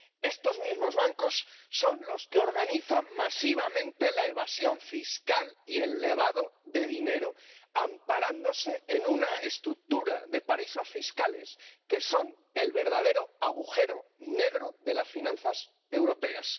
Estos mismos bancos son los que organizan masivamente la evasión fiscal y el lavado de dinero, amparándose en una estructura de paraísos fiscales que son el verdadero agujero negro de las finanzas europeas.